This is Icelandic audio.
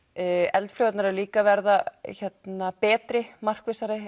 eldflaugarnar eru líka að verða betri markvissari